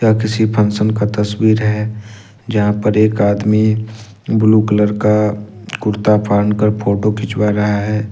यह किसी फंक्शन का तस्वीर है जहां पर एक आदमी ब्लू कलर का कुर्ता पहनकर फोटो खिंचवा रहा है।